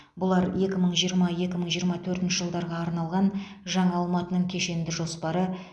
бұлар екі мың жиырма екі мың жиырма төрт жылдарға арналған жаңа алматының кешенді жоспары